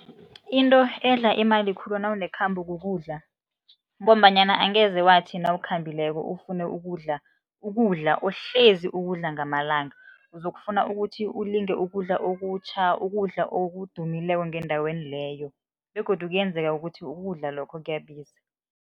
Into edla imali khulu nawunekhambo kukudla, ngombanyana angeze wathi nawukhambileko leyo ufune ukudla ukudla uhlezi ukudla ngamalanga, uzokufuna ukuthi ulinge ukudla okutjha, ukudla okudumileko ngendaweni leyo begodu kuyenzeka ukuthi ukudla lokho kuyabiza.